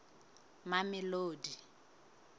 mamelodi